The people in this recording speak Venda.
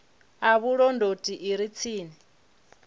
ya vhulondoti i re tsini